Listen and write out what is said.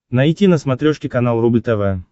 найти на смотрешке канал рубль тв